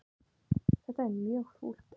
Þetta er mjög fúlt.